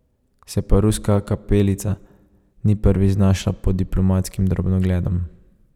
Se pa Ruska kapelica ni prvič znašla pod diplomatskim drobnogledom.